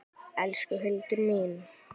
Elsku Hildur mín.